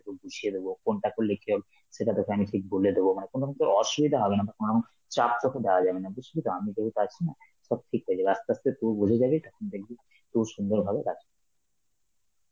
তোকে বুঝিয়ে দেবো কোনটা করলে কি হবে, সেটা তোকে আমি ঠিক বলে দেবো মানে কোন অসুবিধা হবে না, চাপ তোকে দেওয়া যাবে না, বুঝলি তো? আমি তোকে আছি না, সব ঠিক হয়ে যাবে আস্তে আস্তে তুই বুঝে যাবি তখন দেখবে খুব সুন্দর ভাবে কাজ.